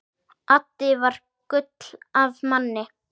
Addi var gull af manni.